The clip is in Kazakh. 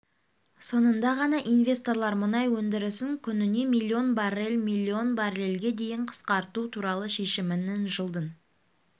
соңында ғана инвесторлар мұнай өндірісін күніне миллион баррель миллион баррельге дейін қысқарту туралы шешімінің жылдың